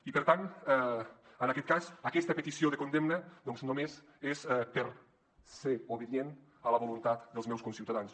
i per tant en aquest cas aquesta petició de condemna només és per ser obedient a la voluntat dels meus conciutadans